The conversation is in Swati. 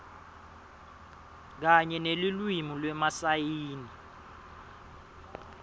kanye nelulwimi lwemasayini